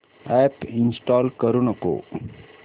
app install करू नको